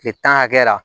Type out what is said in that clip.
Kile tan hakɛ la